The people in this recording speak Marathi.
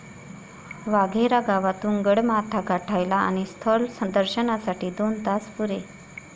वाघेरा गावातून गडमाथा गाठायला आणि स्थल दर्शनासाठी दोन तास पुरे.